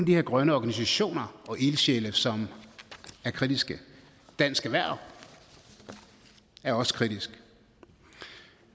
de her grønne organisationer og ildsjæle som er kritiske dansk erhverv er også kritisk